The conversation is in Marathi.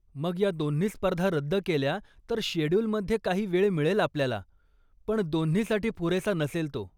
मग, त्या दोन्ही स्पर्धा रद्द केल्या तर शेड्युलमध्ये काही वेळ मिळेल आपल्याला, पण दोन्हीसाठी पुरेसा नसेल तो.